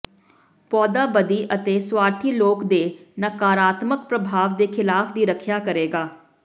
ਪੌਦਾ ਬਦੀ ਅਤੇ ਸੁਆਰਥੀ ਲੋਕ ਦੇ ਨਕਾਰਾਤਮਕ ਪ੍ਰਭਾਵ ਦੇ ਖਿਲਾਫ ਦੀ ਰੱਖਿਆ ਕਰੇਗਾ